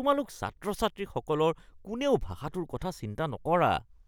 তোমালোক ছাত্ৰ-ছাত্ৰীসকলৰ কোনেও ভাষাটোৰ কথা চিন্তা নকৰা (শিক্ষক)